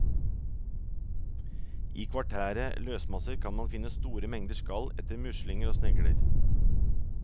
I kvartære løsmasser kan man finne store mengder skall etter muslinger og snegler.